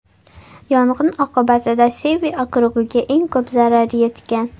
Yong‘in oqibatida Sevi okrugiga eng ko‘p zarar yetgan.